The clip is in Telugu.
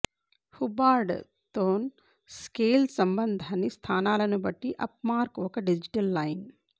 హుబ్బార్డ్ తోన్ స్కేల్ సంబంధాన్ని స్థానాలను బట్టి అప్ మార్క్ ఒక డిజిటల్ లైన్